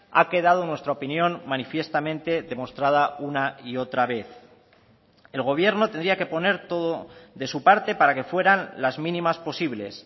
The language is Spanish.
ha quedado en nuestra opinión manifiestamente demostrada una y otra vez el gobierno tendría que poner todo de su parte para que fueran las mínimas posibles